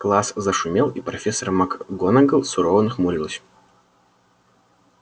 класс зашумел и профессор макгонагалл сурово нахмурилась